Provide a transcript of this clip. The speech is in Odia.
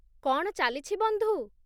କ'ଣ ଚାଲିଛି, ବନ୍ଧୁ?